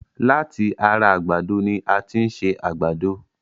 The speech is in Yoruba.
Láti ara àgbàdo ni a tin ṣe àgbàdo